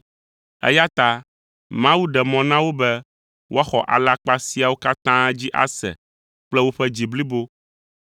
eya ta Mawu ɖe mɔ na wo be woaxɔ alakpa siawo katã dzi ase kple woƒe dzi blibo,